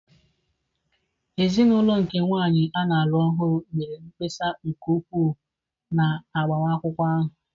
Ezinụlọ nke nwanyị a na-alụ ọhụrụ mere mkpesa nke ukwuu na agbamakwụkwọ ahụ.